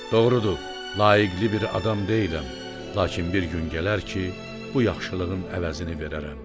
Doğrudur, layiqli bir adam deyiləm, lakin bir gün gələr ki, bu yaxşılığın əvəzini verərəm.